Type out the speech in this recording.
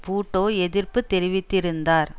பூட்டோ எதிர்ப்பு தெரிவித்திருந்தார்